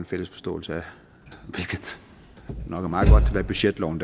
fælles forståelse af hvad budgetloven